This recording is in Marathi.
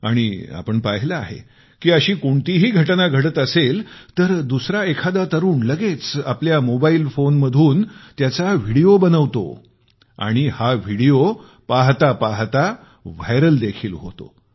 आणि आपण पाहिले आहे की अशी कोणतीही घटना घडत असेल तर दुसरा एखादा तरुण लगेच आपला मोबाइल फोन काढून त्याचा व्हिडिओ बनवतात आणि हा व्हिडिओ लगेच व्हायरल देखील होतो